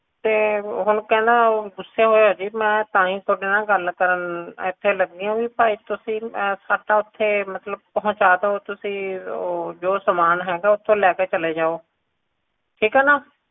ਤੇ ਹੁਣ ਕਹਿੰਦਾ ਗੁੱਸੇ ਹੋਇਆ ਜੀ ਮੈਂ ਤਾਂਹੀ ਤੁਹਾਡੇ ਨਾਲ ਗੱਲ ਕਰਨ ਇਥੇ ਲੱਗੀ ਆ ਵੀ ਭਾਈ ਤੁਸੀਂ ਸਾਡਾ ਓਥੇ ਮਤਲਬ ਪਹੁੰਚਾ ਦੋ ਜੋ ਸਾਮਾਨ ਹੈਗਾ ਓਥੋਂ ਲੈ ਕੇ ਚਲੇ ਜੋ ਠੀਕ ਏ ਨਾ